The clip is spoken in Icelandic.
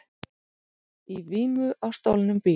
Í vímu á stolnum bíl